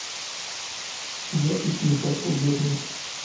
запись ньюкасл бернли